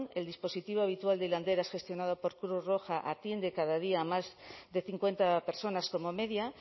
el dispositivo habitual de hilanderas gestionado por cruz roja atiende cada día más de cincuenta personas como media